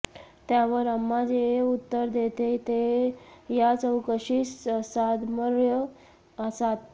त्यावर अम्मा जे उत्तर देते ते या चकव्याशी साधर्म्य साधते